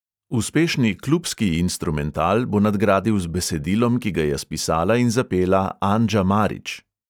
Uspešni klubski instrumental bo nadgradil z besedilom, ki ga je spisala in zapela anđa marić.